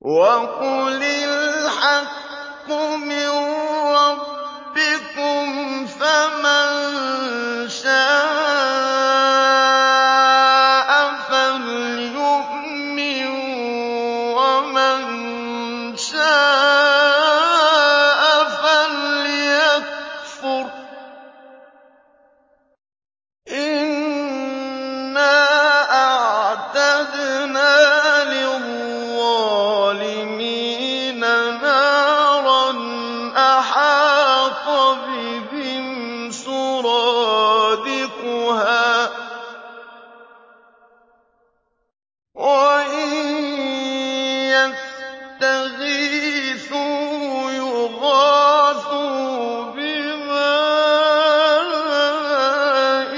وَقُلِ الْحَقُّ مِن رَّبِّكُمْ ۖ فَمَن شَاءَ فَلْيُؤْمِن وَمَن شَاءَ فَلْيَكْفُرْ ۚ إِنَّا أَعْتَدْنَا لِلظَّالِمِينَ نَارًا أَحَاطَ بِهِمْ سُرَادِقُهَا ۚ وَإِن يَسْتَغِيثُوا يُغَاثُوا بِمَاءٍ